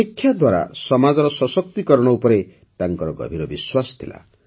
ଶିକ୍ଷା ଦ୍ୱାରା ସମାଜର ସଶକ୍ତିକରଣ ଉପରେ ତାଙ୍କର ଗଭୀର ବିଶ୍ୱାସ ଥିଲା